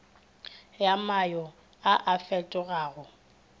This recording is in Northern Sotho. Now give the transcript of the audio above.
ya mayo a a fetogago